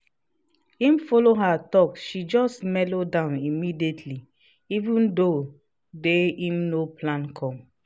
as him follow her talk she just melo down immediately even tho day him no plan come.